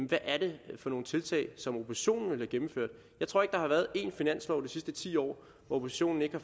hvad er det for nogle tiltag som oppositionen ville have gennemført jeg tror ikke der været én finanslov de sidste ti år hvor oppositionen ikke har